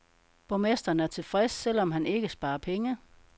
Borgmesteren er tilfreds, selv om han ikke sparer penge.